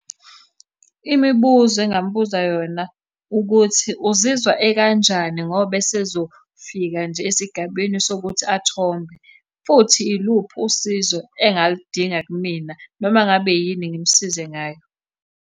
Imibuzo engingamubuza yona ukuthi uzizwa ekanjani ngoba esezofika nje esigabeni sokuthi athombe, futhi iluphi usizo engaludinga kumina noma ngabe yini ngimusize ngayo.